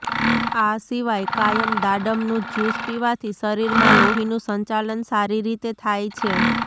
આ સિવાય કાયમ દાડમ નું જ્યુસ પીવાથી શરીર માં લોહીનું સંચાલન સારી રીતે થાય છે